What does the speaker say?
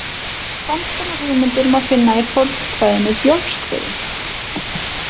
Sams konar hugmyndir má finna í fornkvæðinu Bjólfskviðu.